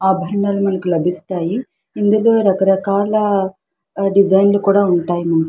ఆభరణము మనకు లభిస్తాయి. ఇందులో రకరకాల డిజైన్లు కూడా ఉంటాయి మనకి.